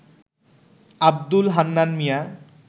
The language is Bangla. আব্দুল হান্নান মিয়া